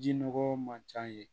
Ji nɔgɔ man ca yen